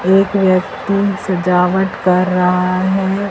एक व्यक्ति सजावट कर रहा है।